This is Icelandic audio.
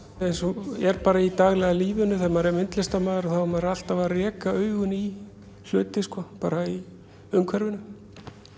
en svo er bara í daglega lífinu þegar maður er myndlistarmaður er maður alltaf að reka augun í hluti sko bara í umhverfinu